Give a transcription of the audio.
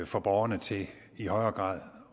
få borgerne til i højere grad